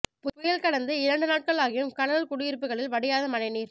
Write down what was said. புயல் கடந்து இரண்டு நாட்களாகியும் கடலூர் குடியிருப்புகளில் வடியாத மழை நீர்